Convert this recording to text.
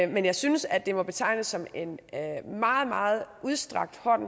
men jeg synes at det må betegnes som en meget meget udstrakt hånd